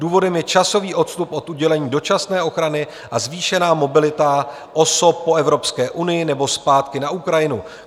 Důvodem je časový odstup od udělení dočasné ochrany a zvýšená mobilita osob po Evropské unii nebo zpátky na Ukrajinu.